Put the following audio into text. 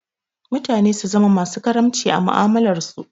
Mutane su zama masu karamci a mu'amalarsu.